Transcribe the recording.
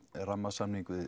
rammasamning við